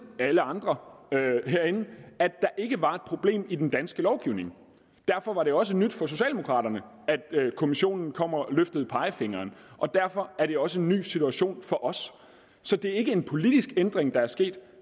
alle andre herinde at der ikke var et problem i den danske lovgivning derfor var det også nyt for socialdemokraterne at kommissionen kom og løftede pegefingeren og derfor er det også en ny situation for os så det er ikke en politisk ændring der er sket